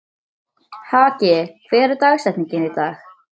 Haki, hver er dagsetningin í dag?